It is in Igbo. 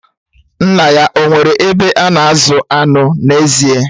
Nna ya o nwere ebe a na-azụ anụ n'ezie?